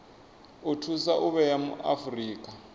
o thusa u vhea afurika